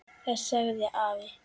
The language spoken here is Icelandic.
Það sagði afi.